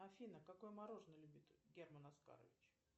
афина какое мороженое любит герман оскарович